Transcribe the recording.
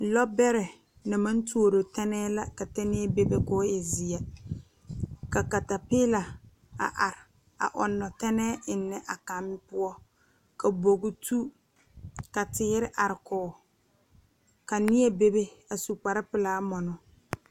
Lɔ bɛrɛ na maŋ tuoro tɛnɛɛ la ka tɛnɛɛ bebe koo e zeɛ ka katapiila a are a ɔŋnɔ tɛnɛɛ eŋnɛ a kaŋ poɔ ka bogi tu ka teere are kɔge ka neɛ bebe a su kparepelaa mɔnɔ.